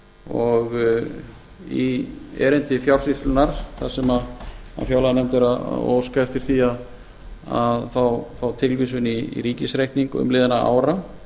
og í erindi fjársýslunnar þar sem fjárlaganefnd er að óska eftir því að fá tilvísun í ríkisreikning umliðinna ára